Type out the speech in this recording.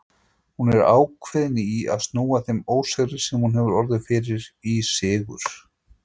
Hún er ákveðin í að snúa þeim ósigri, sem hún hefur orðið fyrir, í sigur.